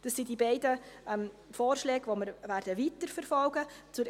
Dies sind die beiden Vorschläge, welche wir weiterverfolgen werden.